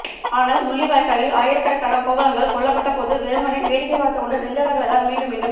ஆனால் முள்ளிவாய்க்காலில் ஆயிரக்கணக்கான கோவலன்கள் கொல்லப்பட்டபோது வெறுமனே வேடிக்கை பார்த்துக்கொண்டு நின்றவர்களைத்தான் மீண்டும் மீண்டும்